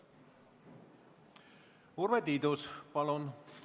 Urve Tiidus, palun!